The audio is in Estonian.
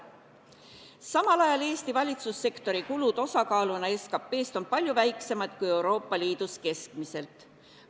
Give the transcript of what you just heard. Samal ajal on Eesti valitsussektori kulud osakaaluna SKT-st palju väiksemad kui Euroopa Liidus keskmiselt.